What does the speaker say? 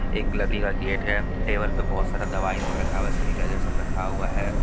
एक लकड़ी का गेट है टेबल पर बहुत सारा दवाई सब रखा हुआ है सेनिटाइजर सब रखा हुआ है।